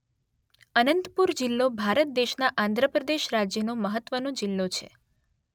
અનંતપુર જિલ્લો ભારત દેશના આંધ્ર પ્રદેશ રાજ્યનો મહત્વનો જિલ્લો છે